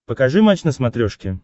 покажи матч на смотрешке